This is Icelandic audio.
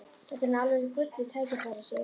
Þetta er nú alveg gullið tækifæri, Sif!